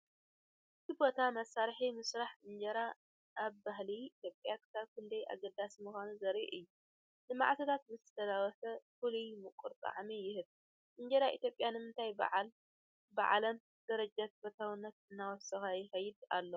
እቲ ቦታ መስርሕ ምስራሕ እንጀራ ኣብ ባህሊ ኢትዮጵያ ክሳብ ክንደይ ኣገዳሲ ምዃኑ ዘርኢ እዩ፤ ንመዓልታት ምስ ተለወሰ ፍሉይ ምቁር ጣዕሚ ይህብ። እንጀራ ኢትዮጵያ ንምንታይ ብዓለም ደረጃ ተፈታውነት እናወሰኸ ይኸይድ ኣሎ?